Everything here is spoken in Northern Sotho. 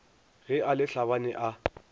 ge a le tlhabane a